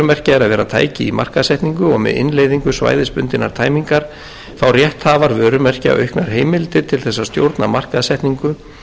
er að vera tæki í markaðssetningu og með innleiðingu svæðisbundinnar tæmingar fá rétthafar vörumerkja auknar heimildir til þess að stjórna markaðssetningu